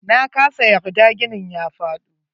Nakasa yarda ginin ya faɗo.